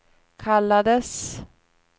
kallades